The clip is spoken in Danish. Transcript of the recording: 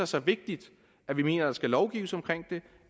så vigtigt at vi mener at der skal lovgives om det